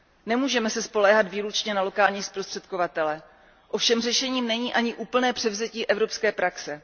Nemůžeme se spoléhat výlučně na lokální zprostředkovatele, ovšem řešením není ani úplné převzetí evropské praxe.